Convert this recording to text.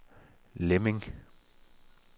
Lemming